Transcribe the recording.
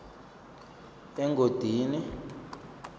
engodini